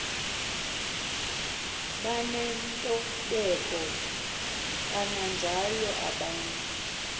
banentobeko kananjalo kobantu